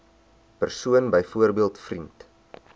persoon byvoorbeeld vriend